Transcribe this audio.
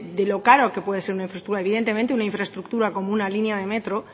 de lo caro que puede ser una infraestructura evidentemente una infraestructura como una línea de metro